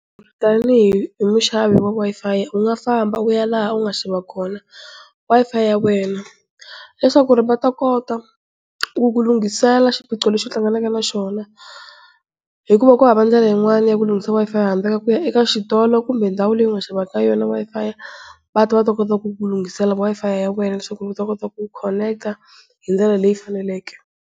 Tanihi muxavi wa Wi-Fi u nga famba u ya laha u nga xava kona Wi-Fi ya wena, leswaku va ta kota ku ku lunghisela Xiphiqo lexi u hlanganaka na xona, hikuva kuhava ndlela yin'wana ya ku lunghisa Wi-Fi handle ka ku ya ka xitolo kumbe ndhawu leyi u nga xava ka yo Wi-Fi va ta va ta kona ku ku lunghisela Wi-Fi ya wena leswaku mi ta kota ku connect hindlela leyi faneleke.